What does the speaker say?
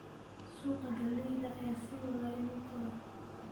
Suuqa galleyda ayaa sii wada inuu koro.